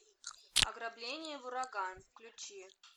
ограбление в ураган включи